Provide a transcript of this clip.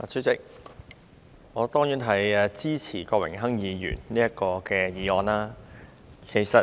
主席，我當然支持郭榮鏗議員這項議案。